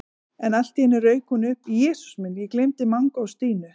En allt í einu rauk hún upp: Jesús minn, ég gleymdi Manga og Stínu